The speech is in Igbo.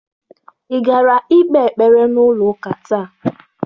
Ị gara ikpe ekpere n'ụlọ ụka taa?